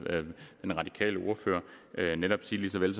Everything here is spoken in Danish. den radikale ordfører sige ligesom jeg